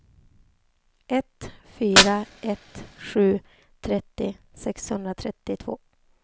ett fyra ett sju trettio sexhundratrettiotvå